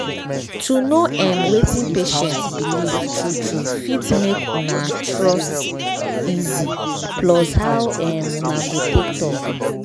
to know erm wetin patient believe true true fit make una trust easy plus how um una go take talk.